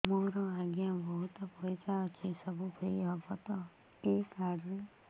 ମୋର ଆଜ୍ଞା ବହୁତ ପଇସା ଅଛି ସବୁ ଫ୍ରି ହବ ତ ଏ କାର୍ଡ ରେ